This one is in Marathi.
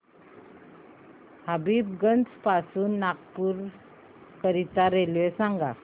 हबीबगंज पासून नागपूर करीता रेल्वे सांगा